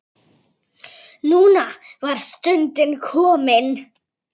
Núna var stundin komin.